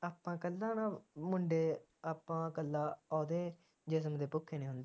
ਆਪਾ ਇਕੱਲਾ ਨਾ ਮੁੰਡੇ ਆਪਾ ਇੱਕਲਾ ਓਹਦੇ ਜਿਸਮ ਦੇ ਭੁੱਖੇ ਨਹੀਂ ਹੁੰਦੇ।